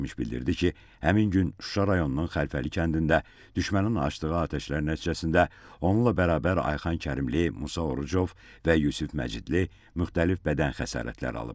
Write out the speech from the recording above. Zərərçəkmiş bildirdi ki, həmin gün Şuşa rayonunun Xəlfəli kəndində düşmənin açdığı atəşlər nəticəsində onunla bərabər Ayxan Kərimli, Musa Orucov və Yusif Məcidli müxtəlif bədən xəsarətləri alıb.